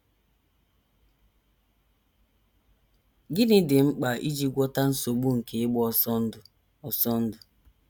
Gịnị Dị Mkpa Iji Gwọta Nsogbu nke Ịgba Ọsọ Ndụ? Ọsọ Ndụ?